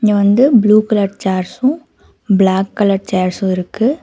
இங்க வந்து blue colour chairs black colour chair இருக்கு.